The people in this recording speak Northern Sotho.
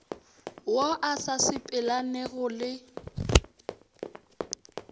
wo o sa sepelelanego le